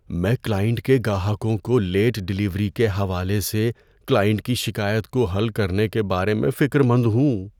میں کلائنٹ کے گاہکوں کو لیٹ ڈیلیوری کے حوالے سے کلائنٹ کی شکایت کو حل کرنے کے بارے میں فکر مند ہوں۔